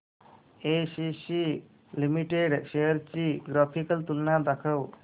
ACC limited shares ची graphical तुलना दाखव